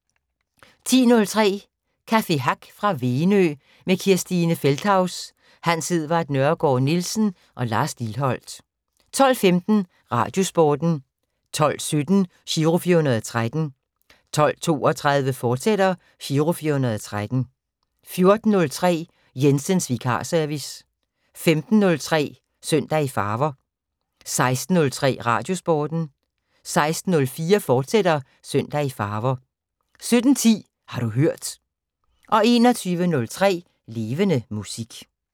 10:03: Café Hack fra Venø med Christine Feldthaus, Hans Edvard Nørregaard-Nielsen og Lars Lilholt 12:15: Radiosporten 12:17: Giro 413 12:32: Giro 413, fortsat 14:03: Jensens vikarservice 15:03: Søndag i Farver 16:03: Radiosporten 16:04: Søndag i Farver, fortsat 17:10: Har du hørt 21:03: Levende Musik